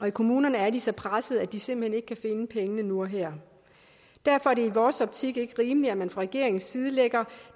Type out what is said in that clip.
i kommunerne er de så pressede at de simpelt hen ikke kan finde pengene nu og her derfor er det i vores optik ikke rimeligt at man fra regeringens side lægger